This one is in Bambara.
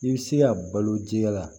I bɛ se ka balo jiya la